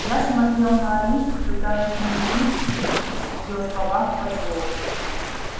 я смотрел на алису пытаясь найти в её словах подвох